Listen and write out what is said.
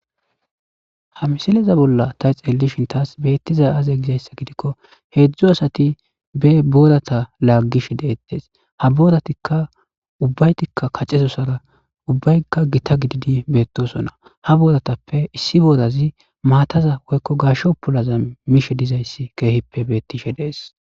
Ha misileza bolla ta xeellishintas beettiza aaze gizayssa gidikko heedzdzu asati be boodata laaggish deettes ha booratikka ubbaytikka kacezosara ubbaykka gita gididi beettosona ha booratappe issi boorazi maataza woykko gashsho pulaza mishe dizayssi keehippe beettishe dees.